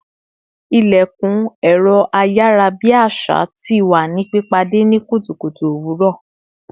İlekun ẹ̀rọ ayarabi àṣà tí wá ní pìpàdé ni kùtùkùtù owuro